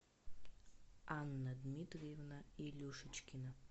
анна дмитриевна илюшечкина